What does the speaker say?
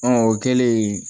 o kɛlen